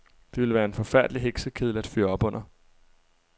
Det ville være en forfærdelig heksekedel at fyre op under.